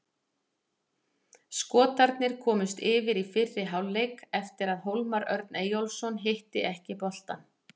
Skotarnir komust yfir í fyrri hálfleik eftir að Hólmar Örn Eyjólfsson hitti ekki boltann.